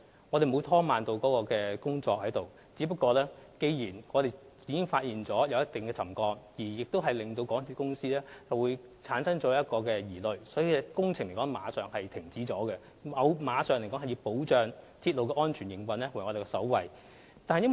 我們沒有拖慢工作，只是在發現橋躉有一定程度沉降後，港鐵公司有所疑慮，故有關工程馬上停止，因為保障港鐵安全營運為我們首要的考慮。